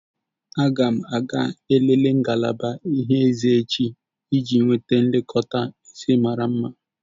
Aga m ga-elele ngalaba ịhe eze iji nweta nlekọta eze mara mma.